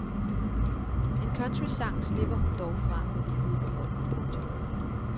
Én countrysang slipper hun dog fra med livet i behold. punktum